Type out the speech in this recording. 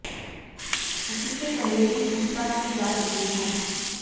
उससे पहले भी पूछताछ की जा चुकी है